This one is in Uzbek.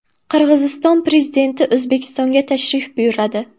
Qirg‘iziston prezidenti O‘zbekistonga tashrif buyuradi.